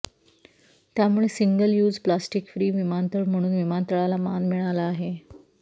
त्यामुळे single use plastic free विमानतळ म्हणून विमानतळाला मान मिळाला आहे